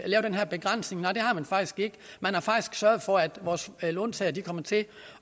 lave den her begrænsning nej det har man faktisk ikke man har faktisk sørget for at vores låntagere kommer til